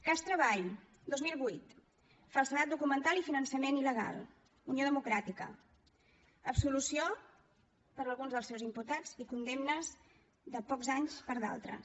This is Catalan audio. cas treball dos mil vuit falsedat documental i finançament il·legal unió democràtica absolució per a alguns dels seus imputats i condemnes de pocs anys per a d’altres